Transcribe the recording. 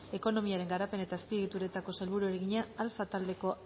ekonomiaren garapen eta azpiegituretako sailburuari egina alfa taldeko